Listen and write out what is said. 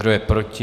Kdo je proti?